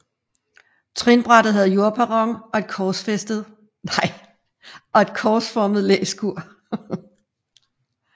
Trinbrættet havde jordperron og et korsformet læskur